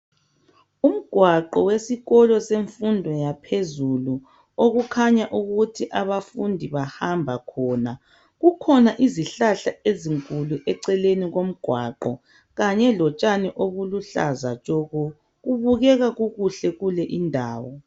Umgwaqo wesikolo semfundo yaphezulu. Okukhanya ukuthi abafundi bahamba khona. Kukhona izihlahla ezinkulu eceleni komgwaqo. Kanye lotshani obuluhlaza tshoko! Kubukeka kukuhle kule indawo.